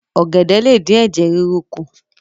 ògèdè lé dín Ẹ̀jẹ̀ ríru kù.